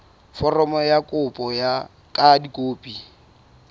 foromo ya kopo ka dikopi